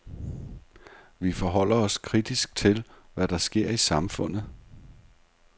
Vi forholder os kritisk til, hvad der sker i samfundet.